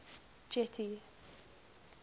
getty